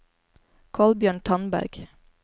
Kolbjørn Tandberg